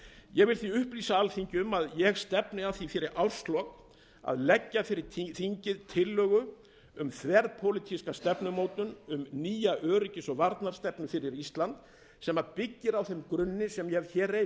ég vil því upplýsa alþingi um að ég stefni að því fyrir árslok að leggja fyrir þingið tillögu um þverpólitíska stefnumótun um nýja öryggis og varnarstefnu fyrir ísland sem byggir á þeim grunni sem ég hef hér reifað